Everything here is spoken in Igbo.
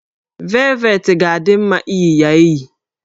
Velvetị ga-adị mma iyi ya eyi